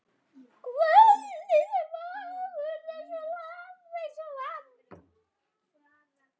Kvöldið er fagurt.